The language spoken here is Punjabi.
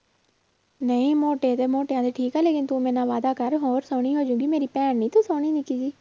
ਨਹੀਂ ਮੋਟੇ ਤੇ ਮੋਟਿਆਂ ਦਾ ਠੀਕ ਆ ਲੇਕਿੰਨ ਤੂੰ ਮੇਰੇ ਨਾਲ ਵਾਅਦਾ ਕਰ ਹੋਰ ਸੋਹਣੀ ਹੋ ਜਾਏਗੀ ਮੇਰੀ ਭੈਣ ਨੀ ਤੂੰ ਸੋਹਣੀ ਨਿੱਕੀ ਜਿਹੀ